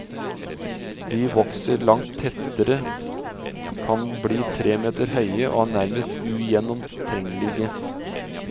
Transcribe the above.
De vokser langt tettere, kan bli tre meter høye og er nærmest ugjennomtrengelige.